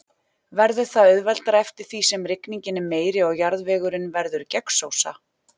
Verður það auðveldara eftir því sem rigningin er meiri og jarðvegurinn verður gegnsósa.